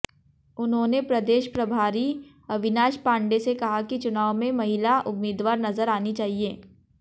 उन्होंने प्रदेश प्रभारी अविनाश पांडे से कहा कि चुनाव में महिला उम्मीदवार नज़र आनी चाहिए